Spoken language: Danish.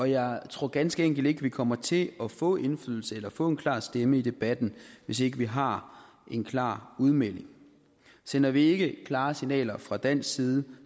jeg tror ganske enkelt ikke vi kommer til at få indflydelse eller få en klar stemme i debatten hvis ikke vi har en klar udmelding sender vi ikke klare signaler fra dansk side